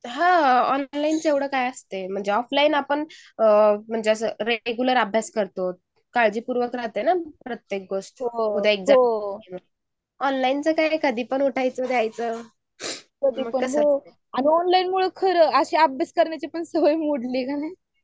हान ऑनलाईन च एवढं काय असतंयऑफलाईन आपण या आपण रेग्युलर अभ्यास करतो. काळजीपूर्ण राहते ना प्रत्येक गोस्ट. ऑनलाईन च काय कधी पण उठायचं द्यायचं आणि कस ऑनलाईन मुले असं अभ्यास करायची पण सवय मोडली.